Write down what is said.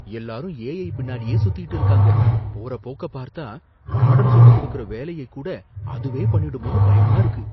எல்லாரும் ஏஐ பின்னாடியே சுத்திட்டு இருக்காங்க, போற போக்க பார்த்தா பாடம் சொல்லிக் கொடுக்கற வேலையக் கூட அதுவே பண்ணிடுமோன்னு பயமா இருக்கு.